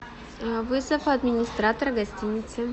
вызов администратора гостиницы